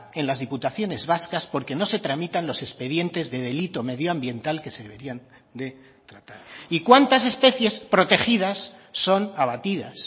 en las diputaciones vascas porque no se tramitan los expedientes de delito medioambiental que se deberían de tratar y cuántas especies protegidas son abatidas